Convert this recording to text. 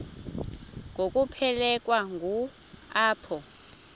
ngokuphelekwa ngu apho